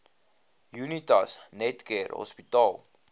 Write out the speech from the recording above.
unitas netcare hospitaal